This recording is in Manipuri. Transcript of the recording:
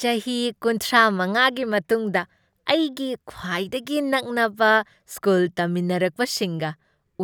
ꯆꯍꯤ ꯀꯨꯟꯊ꯭ꯔꯥꯃꯉꯥꯒꯤ ꯃꯇꯨꯡꯗ ꯑꯩꯒꯤ ꯈ꯭ꯋꯥꯏꯗꯒꯤ ꯅꯛꯅꯕ ꯁ꯭ꯀꯨꯜ ꯇꯝꯃꯤꯟꯔꯛꯄꯁꯤꯡꯒ